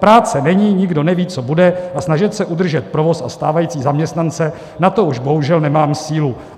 Práce není, nikdo neví, co bude, a snažit se udržet provoz a stávající zaměstnance, na to už bohužel nemám sílu.